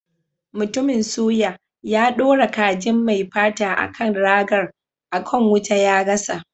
Mutumin suya, ya dora kajin mai fata a kan ragar, a kan wuta ya gasa.